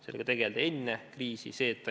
Sellega tegeldi enne kriisi.